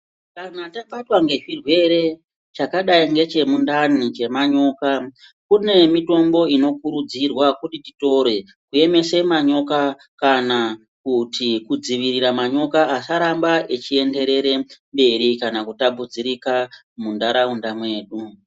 Anhu akabatwa ngezvirwere chakadai ngechemundani chemanyoka kune mitombo inokurudzirwa kuti titore kuemese manyoka kana kuti kudzivirira manyoka asaramba echienderere mberi kana kutapudzirika mundaraunda mwedu.